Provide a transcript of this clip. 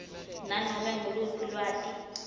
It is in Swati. nanome nguluphi lwati